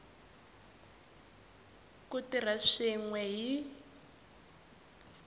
ku tirha swin we hi